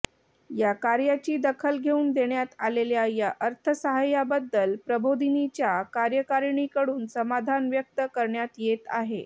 या कार्याची दखल घेऊन देण्यात आलेल्या या अर्थसाहाय्याबद्दल प्रबोधिनीच्या कार्यकारिणीकडून समाधान व्यक्त करण्यात येत आहे